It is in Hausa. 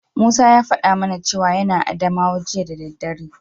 Musa ya faɗa mana cewa yana Adamawa jiya da daddare.